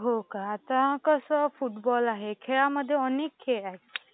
हो का? आता कसं फुटबॉल आहे, खेळामध्ये अनेक खेळ आहेत.